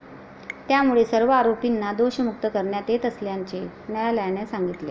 त्यामुळे सर्व आरोपींना दोषमुक्त करण्यात येत असल्याचे न्यायालयाने सांगितले.